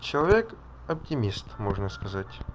человек оптимист можно сказать